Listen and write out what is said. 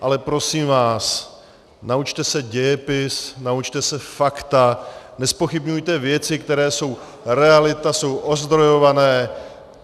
Ale prosím vás, naučte se dějepis, naučte se fakta, nezpochybňujte věci, které jsou realita, jsou ozdrojované.